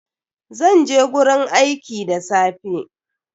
Zan je gurin aiki da safe.